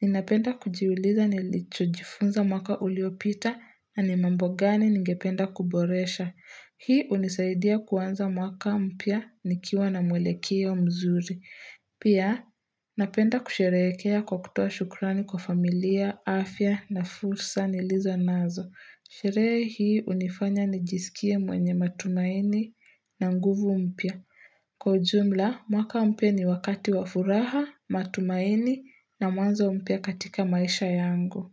ninapenda kujiuliza nilichojifunza mwaka uliopita na ni mambo gani ningependa kuboresha. Hii hunisaidia kuanza mwaka mpya nikiwa na mwelekeo mzuri. Pia, napenda kusherehekea kwa kutoa shukrani kwa familia, afya na fursa nilizo nazo. Sherehe hii hunifanya nijisikie mwenye matumaini na nguvu mpya. Kwa ujumla, mwaka mpya ni wakati wa furaha, matumaini na mwanzo mpya katika maisha yangu.